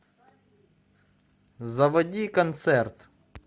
заводи концерт